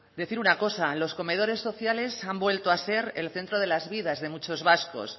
decir una cosa los comedores sociales han vuelto a ser el centro de las vidas de muchos vascos